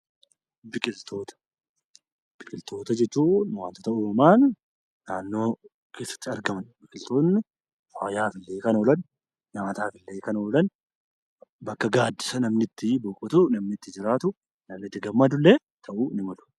Biqiltoota jechuun wantoota uumamaan naannoo keessatti argaman. Biqiltoonni fayyaaf, nyaataaf kan ooolan bakka gaaddisa namni itti boqotu, itti jiraatuu fi itti gammadullee ta'uu ni malu.